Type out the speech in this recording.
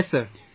Yes sir